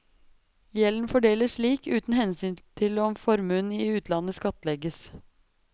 Gjelden fordeles slik, uten hensyn til om formuen i utlandet skattlegges.